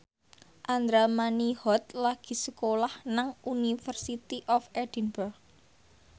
Andra Manihot lagi sekolah nang University of Edinburgh